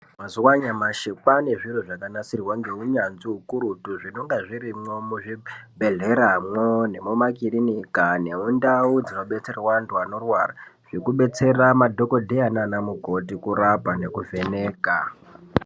Mazuwa anyamashi kwaane zviro zvakanasirwa ngeunyanzvi hukurutu zvinonga zvirimwo muzvibhedhleramwo nemumakilinika, nemundau dzinobetserwa vanthu vanorwara zvekubetsera madhokodheya nana mukoti kurapa nekuvheneka.